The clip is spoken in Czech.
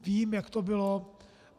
Vím, jak to bylo.